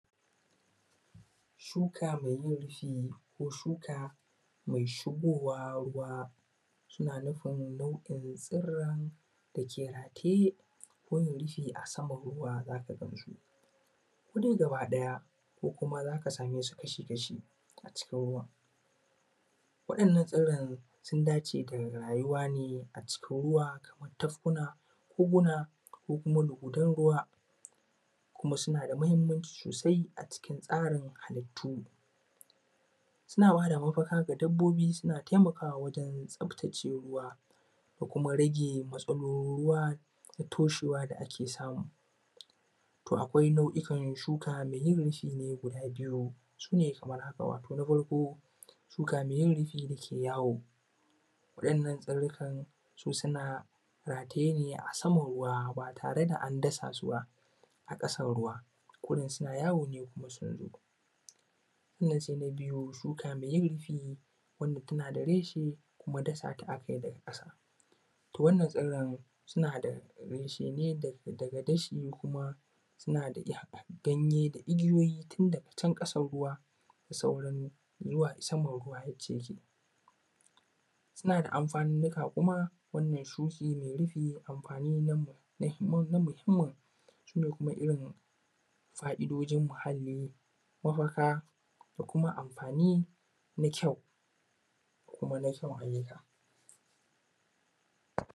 Shuka mai yin rufi ko shuka mai shigowa ruwa suna nufin nau`o`in tsiran dake haƙe gun rufi a saman ruwa zaka gansu kodai gaba ɗaya ko kuma zaka same su kashi kashi a cikin ruwan waɗannan tsiran sun dace da rayuwa ne a cikin ruwa kamar tafkuna, koguna, ko kuma luguden ruwa kuma suna da mahimmanci sosai a cikin tsarin halittu suna ba da mafaka ga dabbobi suna taimakawa wajen tsaftace ruwa da kuma rage matsalolin ruwa wajen toshewa da ake samu am to akwai nau`ukan shuka mai yin rufi ne guda biyu sune kamar haka wato na farko shuka mai yin rufi da ke yawo wa`yannan tsirikan su suna rataye ne a saman ruwa ba tare da an dasa su ba a ƙasan ruwa kurin suna yawo ne kuma sun zo, sannan sai na biyu, shuka mai yin rufi wanda tana da reshe kuma dasa ta aka yi daga ƙasa to wannan tsiran suna da reshe ne daga dashi kuma suna da ganye da igiyoyi tun daga can ƙasan ruwa da sauran saman ruwa inda yake suna da amfanonika kuma wannan shuki mai rufi amfani na muhimmi sune kuma irin fa`idojin muhalli mafaka ko kuma amfani na kyau kuma na kyan aiyuka.